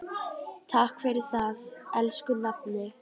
Takk fyrir það, elsku nafni.